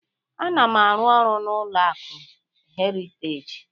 Ana m arụ-ọrụ na ụlọ akụ Heriteji